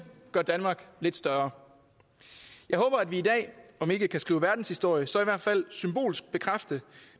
gør danmark lidt større jeg håber at vi i dag om ikke kan skrive verdenshistorie så i hvert fald symbolsk kan bekræfte